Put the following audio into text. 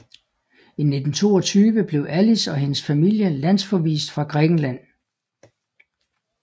I 1922 blev Alice og hendes familie landsforvist fra Grækenland